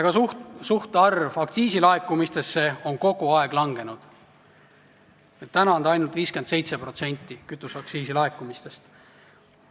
Ka suhtarv võrreldes aktsiisilaekumistega on kogu aeg langenud, praegu läheb teedele ainult 57% kütuseaktsiisi laekumistest.